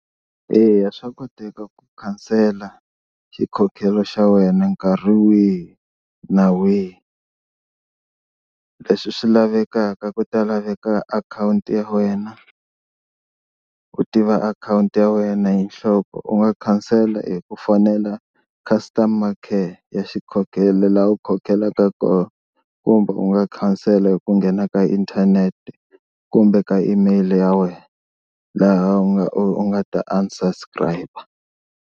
Eya swa koteka ku khansela xikhokhelo xa wena nkarhi wihi na wihi. Leswi swi lavekaka ku ta laveka akhawunti ya wena u tiva akhawunti ya wena hi nhloko u nga khansela hi ku fonela customer care ya xikhokhelo laha u khokhelaka kumbe u nga khansela hi ku nghena ka inthanete kumbe ka email ya wena laha u nga u nga ta unsubscribe.